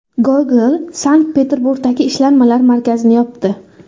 Google Sankt-Peterburgdagi ishlanmalar markazini yopdi.